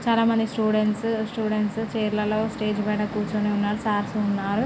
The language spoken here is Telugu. చాలా మంది స్టూడెంట్స్ స్టూడెంట్స్ చైర్స్ ఫై కూర్చొని ఉన్నారు సార్స్ ఉన్నారు.